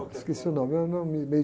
Esqueci o nome, eu não me, me